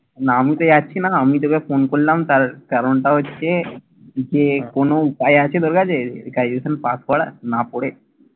না, আমি তো আমি তোকে ফোন করলাম তার কারণটা হচ্ছে যে কোনো উপায় আছে তোর কাছে graduation পাশ করার না পড়ে।